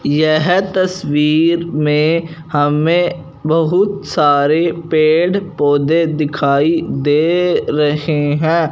यह तस्वीर में हमें बहुत सारे पेड़ पौधे दिखाई दे रहे हैं।